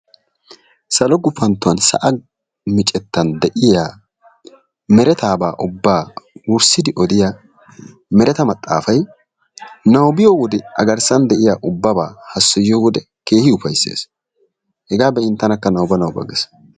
Salo mera sa'a miccettaan de'iya meretaabaa ubbaa wussidi odiya mereta maxaafay nabbabbiyo wode agrssan de'iya ubbabaa hassayyoyo wodee keehin ufayssees, hegaa be'iyode tanakka nabanaba gees.